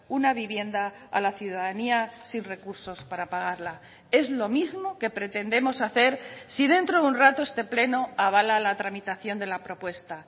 una vivienda a la ciudadanía sin recursos para pagarla es lo mismo que pretendemos hacer si dentro de un rato este pleno avala la tramitación de la propuesta